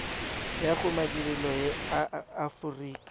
ya go madirelo a aforika